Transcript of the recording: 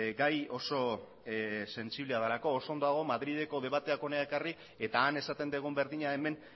gai oso sentsiblea delako oso ondo dago madrileko debateak hona ekarri eta han esaten dugun berdina hemen